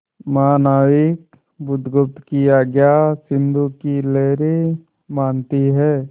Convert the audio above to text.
महानाविक बुधगुप्त की आज्ञा सिंधु की लहरें मानती हैं